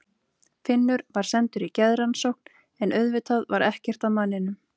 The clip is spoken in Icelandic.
Finnur var sendur í geðrannsókn, en auðvitað var ekkert að manninum.